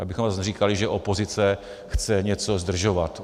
Abychom zase neříkali, že opozice chce něco zdržovat.